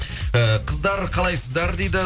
і қыздар қалайсыздар дейді